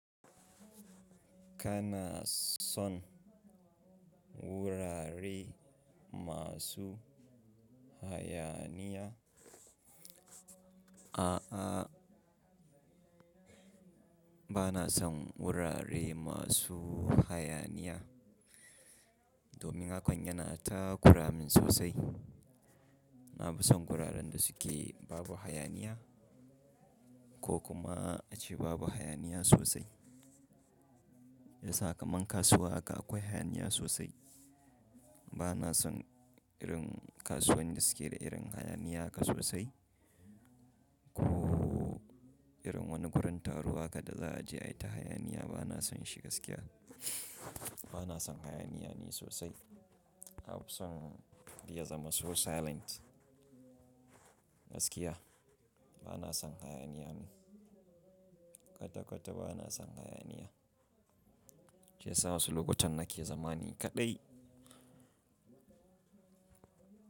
Kana son wurare masu hayaniya? A'a, ba na son wurare masu hayaniya domin hakan yana takuramin sosai. Na fi son wuraren da suke babu hayaniya, ko kuma ace babu hayaniya sosai. Yasa kaman kasuwa haka akwai hayaniya sosai. Ba na son irin kasuwan da suke da irin hayaniya haka sosai, ko irin wani gurin taro haka da za'a je ai ta hayaniya. Ba na son shi gaskiya. Ba na son hayaniya ne sosai. Na fi son ya zama so silent gaskiya. Ba na son hayaniya. Kwata-kwata ba na son hayaniya. Jiya sama sulukunta na kiyan zama ni kaɗai.